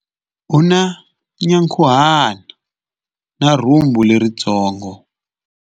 U na nyankhuhana na rhumbu leritsongo.